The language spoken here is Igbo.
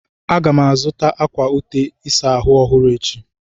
Aga m azụta akwa ute ịsa ahụ ọhụrụ echi.